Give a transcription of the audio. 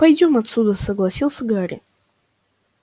пойдём отсюда согласился гарри